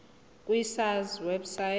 ku sars website